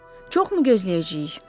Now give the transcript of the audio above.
Çox mu gözləyəcəyik?